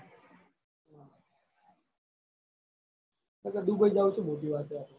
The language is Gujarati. દુબઇ જાવું ચો મોટી વાત હે.